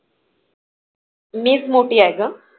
मी एक मोठी आहे ग.